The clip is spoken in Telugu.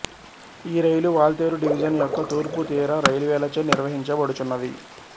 ఈరైలు వాల్టేరు డివిజన్ యొక్క తూర్పు తీర రైల్వేలచే నిర్వహించబడుచున్నది